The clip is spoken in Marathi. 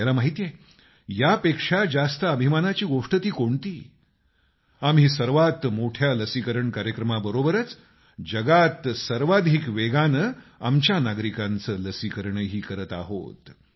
आपल्याला माहित आहे यापेक्षा जास्त अभिमानाची गोष्ट ती कोणती आम्ही सर्वात मोठ्या लसीकरण कार्यक्रमाबरोबरच जगात सर्वाधिक वेगानं आमच्या नागरिकांचं लसीकरणही करत आहोत